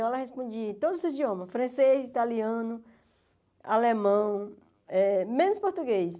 Ela respondia em todos os idiomas, francês, italiano, alemão, eh menos português.